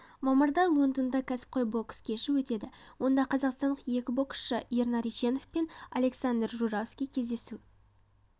мамырда лондонда кәсіпқой бокс кеші өтеді онда қазақстандық екі боксшы ернар ешенов пен александр журавский кездесу